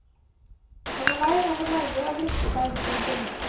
Han er lei av å neie og vrikke seg. punktum